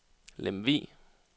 Lemvug